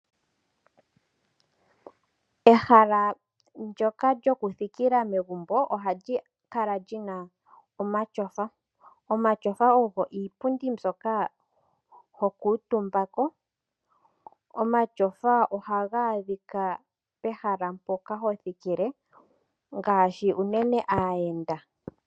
Ehala ndyoka lyoku thikila megumbo ohali kala lina omatyofa. Omatyofa ogo iipundi mbyoka ho kuutumba ko, omatyofa ohaga adhika pehala mpoka hapu thikilwa ngaashi unene kaayenda.